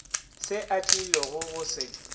se a tlilogo go se